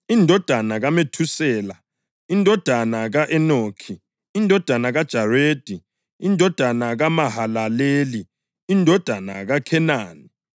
indodana kaMethusela, indodana ka-Enoki, indodana kaJaredi, indodana kaMahalaleli, indodana kaKhenani,